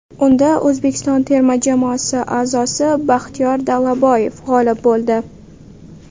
Unda O‘zbekiston terma jamoasi a’zosi Baxtiyor Dalaboyev g‘olib bo‘ldi.